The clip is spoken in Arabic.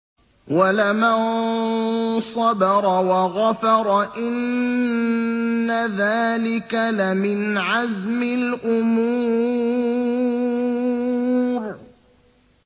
وَلَمَن صَبَرَ وَغَفَرَ إِنَّ ذَٰلِكَ لَمِنْ عَزْمِ الْأُمُورِ